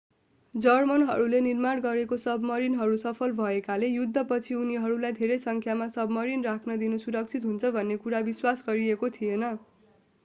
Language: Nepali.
जर्मनहरूले निर्माण गरेका सबमरिनहरू सफल भएकाले युद्धपछि उनीहरूलाई धेरै सङ्ख्यामा सबमरिन राख्न दिनु सुरक्षित हुन्छ भन्ने कुरा विश्वास गरिएको थिएन